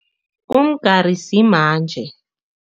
Umgari simanje.